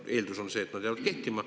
Eeldus on see, et need jäävad kehtima.